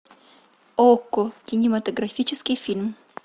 окко кинематографический фильм